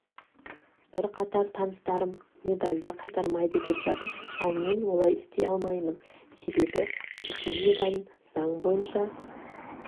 бірқатар таныстарым медалді қайтармайды деп жатыр ал мен олай істей алмаймын себебі пекин медалін заң бойынша